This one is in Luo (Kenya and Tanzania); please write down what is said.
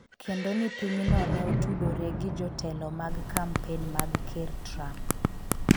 kendo ni piny no ne otudore gi jotelo mag kampen mag ker Trump